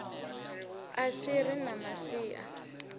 si a ri na masia